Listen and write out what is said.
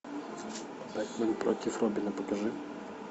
бэтмен против робина покажи